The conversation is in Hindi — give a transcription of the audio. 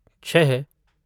छः